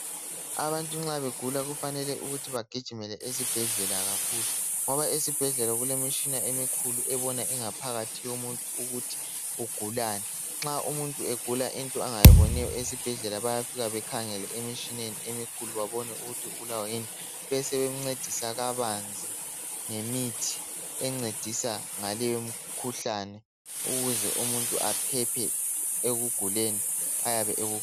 Abantu nxa begula kufanele ukuthi begijimele esibhedlela kakhulu ngoba esibhedlela ngoba esibhedlela kulemitshina emikhulu ebona ingaphakathi yomuntu ukuthi ugulani nxaumuntu egula into angayiboniyo esibhedlela bayafika bekhangele emtshineni emikhulu bebone ukuthi ugulani besebemngcedisa kabanzi ngemithi engcedisa ngale imikhuhlane ukuze umuntu aphephe ekuguleni ayabe ekugula